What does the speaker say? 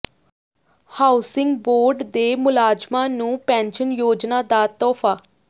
housing board ਦੇ ਮੁਲਾਜ਼ਮਾਂ ਨੂੰ ਪੈਨਸ਼ਨ ਯੋਜਨਾ ਦਾ ਤੋਹਫ਼ਾ